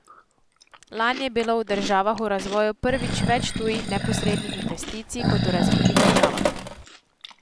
Lani je bilo v državah v razvoju prvič več tujih neposrednih investicij kot v razvitih državah.